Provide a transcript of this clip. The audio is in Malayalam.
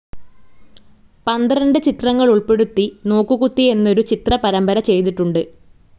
പന്ത്രണ്ട് ചിത്രങ്ങളുൾപ്പെടുത്തി നോക്കുകുത്തി എന്നൊരു ചിത്ര പരമ്പര ചെയ്തിട്ടുണ്ട്.